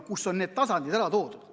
Seal on need tasandid ära toodud.